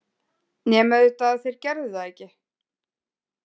Nema auðvitað að þeir gerðu það ekki.